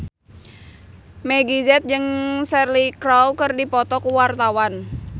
Meggie Z jeung Cheryl Crow keur dipoto ku wartawan